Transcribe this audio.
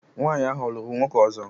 Nwanyị ahụ ọ̀ lụrụ nwoke ọzọ?